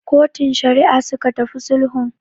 Kotun Shari'a suka tafi sulhun.